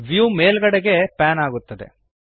view ಮೇಲ್ಗಡೆಗೆ pan ಆಗುತ್ತದೆ